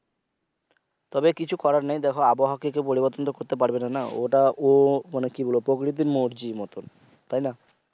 তবে কিছু করার নেই দেখো আবহাওয়াকে কেউ পরিবর্তন তো কেউ করতে পারবে না ওটা ও প্রকৃতির মর্জির মতন